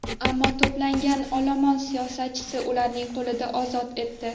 Ammo to‘plangan olomon siyosatchini ularning qo‘lidan ozod etdi.